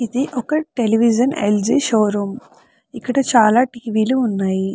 ఇది ఒక television L. G. Showroom ఇక్కడ చాలా టీ. వీ. లు ఉన్నాయి.